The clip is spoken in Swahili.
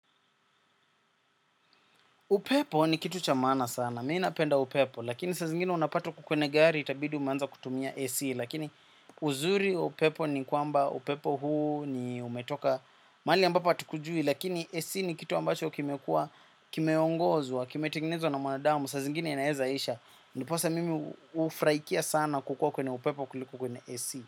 Upepo ni kitu cha maana sana, mimi napenda upepo, lakini saa zingine unapata kwenye gari, itabidi umeanza kutumia AC, lakini uzuri wa upepo ni kwamba upepo huu ni umetoka mahali ambapo hatukujui, lakini AC ni kitu ambacho kimekua, kimeongozwa, kimetengenezwa na mwanadamu, saa zingine inaeza isha, ndiposa mimi hufraikia sana kukua kwenye upepo kuliko kwenye AC.